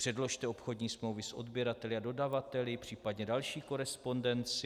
Předložte obchodní smlouvy s odběrateli a dodavateli, případně další korespondenci.